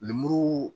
Lemuru